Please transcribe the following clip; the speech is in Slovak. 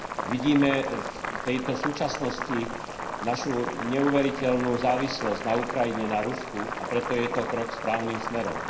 Vidíme v súčasnosti našu neuveriteľnú závislosť na Ukrajine, na Rusku, a preto je to krok správnym smerom.